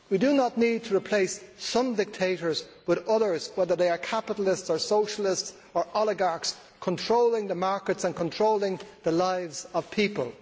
We do not need to replace some dictators with others, whether they are capitalists or socialists or oligarchs controlling the markets and controlling the lives of people.